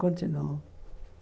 Continuou.